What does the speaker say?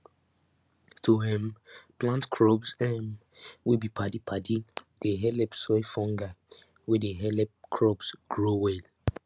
to um plant crops um wey be padi padi dey helep soil fungi wey dey helep crops grow well